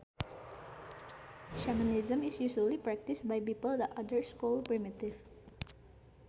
Shamanism is usually practiced by people that others call primitive